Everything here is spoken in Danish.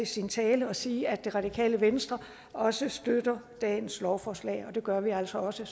sin tale og sige at det radikale venstre også støtter dagens lovforslag og det gør vi altså også